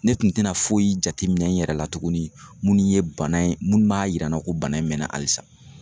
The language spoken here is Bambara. Ne tun tena foyi jateminɛ n yɛrɛ la tuguni munnu ye bana ye munnu b'a yira n na ko bana in mɛna alisa